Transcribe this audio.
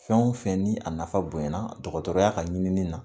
Fɛn o fɛn ni a nafa bonyana dɔgɔtɔrɔya' ka ɲinini na